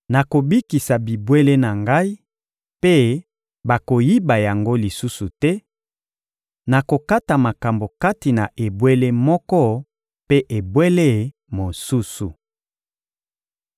nakobikisa bibwele na Ngai, mpe bakoyiba yango lisusu te; nakokata makambo kati na ebwele moko mpe ebwele mosusu.